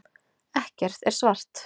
Ekkert er svart.